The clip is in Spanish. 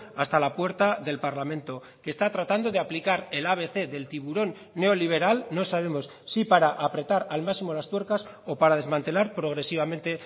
hasta la puerta del parlamento que está tratando de aplicar el abc del tiburón neoliberal no sabemos si para apretar al máximo las tuercas o para desmantelar progresivamente